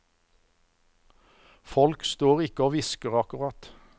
Folk står ikke og hvisker, akkurat.